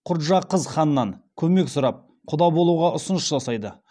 құрджақыз ханнан көмек сұрап құда болуға ұсыныс жасайды